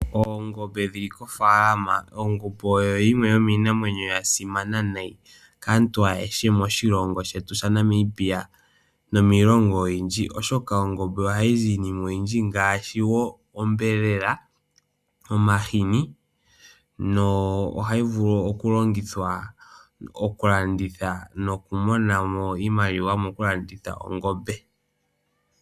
Oongombe dhili kofaalama, ongombe oyo yimwe yo miinamwenyo yasimama nayi kaantu ayeshe moshilongo shetu sha Namibia nomiilongo oyindji, oshoka ongombe oha yi zi iinima oyindji ngaashi woo ombelela, omahini, no hayi vulu okulongithwa okulanditha noku monamo iimaliwa mokulanditha ongombe.